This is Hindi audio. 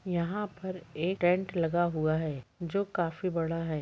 यहाँ पर एक टेंट लगा हुआ है जो काफी बड़ा है।